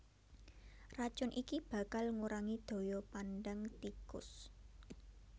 Racun iki bakal ngurangi daya pandang tikus